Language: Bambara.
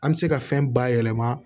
An bɛ se ka fɛn bayɛlɛma